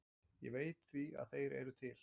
Ég veit því að þeir eru til.